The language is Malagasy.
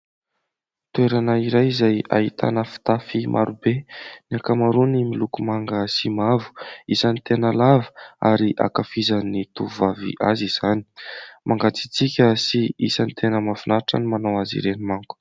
Toerana iray izay ahitana fitafy marobe ny ankamaroany miloko manga sy mavo isan'ny tena lava ary ankafizan'ny tovovavy azy izany mangatsiantsika sy isan'nytena mafinaritra ny manao azy ireny manko.